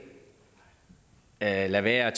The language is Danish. lade lade være